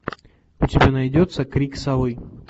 у тебя найдется крик совы